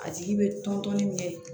A tigi bɛ tɔntɔnni kɛ